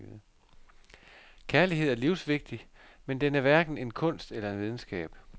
Kærlighed er livsvigtig, men den er hverken en kunst eller en videnskab.